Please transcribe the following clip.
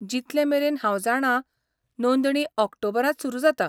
जितलेमेरेन हांव जाणां नोंदणी ऑक्टोबरांत सुरु जाता .